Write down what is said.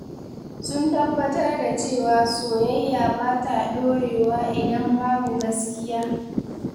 Sun tabbatar da cewa soyayya ba ta dorewa idan babu gaskiya.